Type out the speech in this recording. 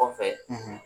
Kɔfɛ